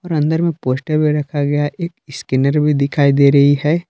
और अंदर में पोस्टर भी रखा गया है एक स्कैनर भी दिखाई दे रही है।